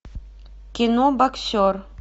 кино боксер